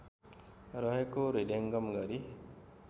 रहेको हृदयङ्गम गरी